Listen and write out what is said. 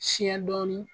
Siɲɛ dɔɔni